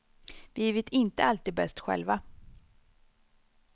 Vi vet inte alltid bäst själva.